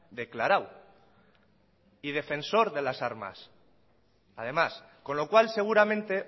declarado y defensor de las armas además con lo cual seguramente